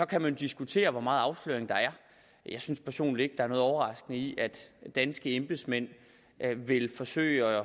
kan man diskutere hvor meget afsløring der er jeg synes personligt ikke er noget overraskende i at danske embedsmænd vil forsøge